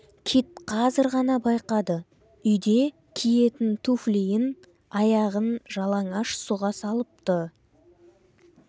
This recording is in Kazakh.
кит қазір ғана байқады үйде киетін туфлиін аяғын жалаңаш сұға салыпты